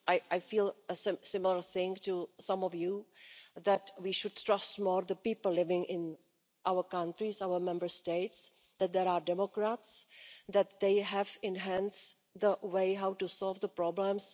I feel a similar thing to some of you, namely that we should trust more the people living in our countries and our Member States, that there are democrats and that they have enhanced a way to solve the problems.